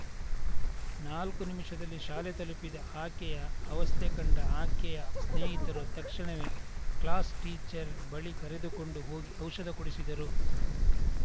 ನಾಲ್ಕು ನಿಮಿಷದಲ್ಲಿ ಶಾಲೆ ತಲುಪಿದ ಆಕೆಯ ಅವಸ್ತೆ ಕಂಡ ಆಕೆಯ ಸ್ನೇಹಿತರು ತಕ್ಷಣವೇ ಕ್ಲಾಸ್‌ಟೀಚರ್‌ ಬಳಿ ಕರೆದುಕೊಂಡು ಹೋಗಿ ಔಷಧ ಕೊಡಿಸಿದರು